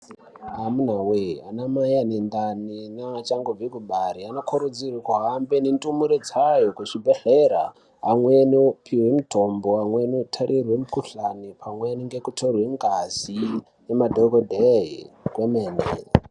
Amuna wee anamai ane ndani nea achangbva kubare anokurudzirwa kuhambe nendumure dzayo kuchibhedhlera amweni opiwa mitombo amweni otarirwa mukhuhlani amweni atarirwa ngazi ngemadhokoteya kwomene.